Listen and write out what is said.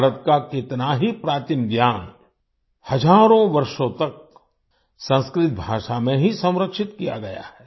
भारत का कितना ही प्राचीन ज्ञान हजारों वर्षों तक संस्कृत भाषा में ही संरक्षित किया गया है